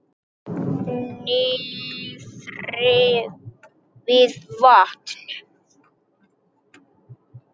Niðri við vatn?